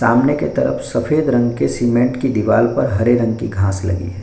सामने के तरफ सफ़ेद रंग के सीमेंट की दिवाल पर हरे रंग कि घास लगी है।